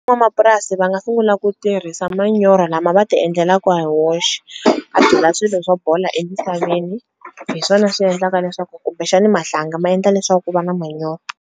N'wamapurasi va nga sungula ku tirhisa manyoro lama va ti endlelaku ha woxe a byala swilo swo bola emisaveni hi swona swi endlaka leswaku kumbexani mahlanga ma endla leswaku ku va na manyoro.